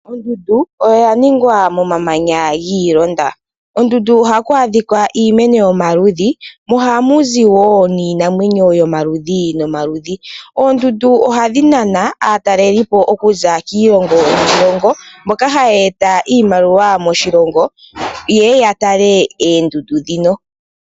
Ondundu oyaningqa momamaga ilonga. Kondundu ohaku adhikwa iimeno yomaludhi mo ohamu zi wo niinamwenyo yomaludhi nomaludhi. Oondundu ohadhi nana aatalelipo okuza kiilongo niilongo mboka haya eta iimaliwa moshilongo, ye ye ya tale oondundu dhino.